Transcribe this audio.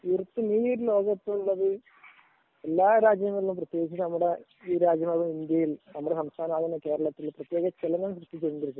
ഈ ലോക കപ്പില് എല്ലാ രാജ്യങ്ങളും പ്രത്യേകിച്ച് നമ്മുടെ രാജ്യമായ ഇന്ത്യയും നമ്മുടെ സംസ്ഥാനമായ കേരളത്തിലും